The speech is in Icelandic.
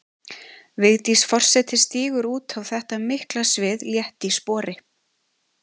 Vigdís forseti stígur út á þetta mikla svið létt í spori.